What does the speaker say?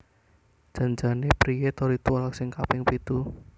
Jan jane priye to ritual sing kaping pitu?